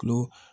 Kulo